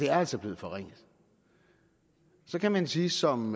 er altså blevet forringet så kan man sige som